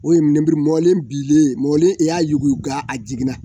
O lenuru mɔnen binnen mɔlen i y'a yuguba a jiginna